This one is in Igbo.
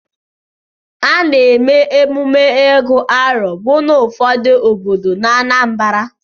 Ana-eme emume Ịgu arọ bụ n'ụfọdụ obodo n'Anambara.